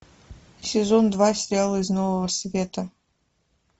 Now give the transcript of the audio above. сезон два сериала из нового света